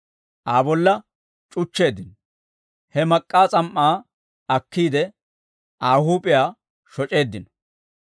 Aa bolla c'uchcheeddino; he mak'k'aa s'am"aa akkiide, Aa huup'iyaa shoc'eeddino.